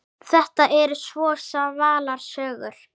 Þetta eru svo svalar sögur.